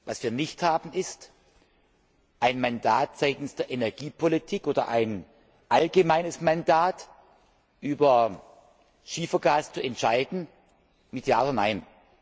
Was wir nicht haben, ist ein Mandat seitens der Energiepolitik oder ein allgemeines Mandat, über Schiefergas zu entscheiden mit Ja oder Nein.